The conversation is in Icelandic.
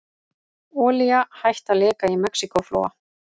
Olía hætt að leka í Mexíkóflóa